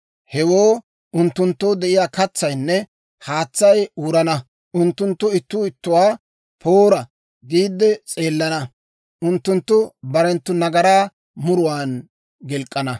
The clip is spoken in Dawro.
Hewoo unttunttoo de'iyaa katsaynne haatsay wurana; unttunttu ittuu ittuwaa, ‹Poora!› giidde s'eelana; unttunttu barenttu nagaraa muruwaan gilk'k'ana.